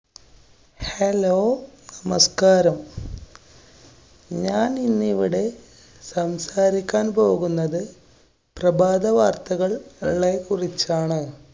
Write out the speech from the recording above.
hello! നമസ്കാരം. ഞാനിന്നിവിടെ സംസാരിക്കാന്‍ പോകുന്നത് പ്രഭാത വാര്‍ത്തകള്‍~ളെ കുറിച്ചാണ്.